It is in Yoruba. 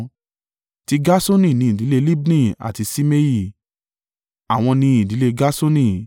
Ti Gerṣoni ni ìdílé Libni àti Ṣimei; àwọn ni ìdílé Gerṣoni.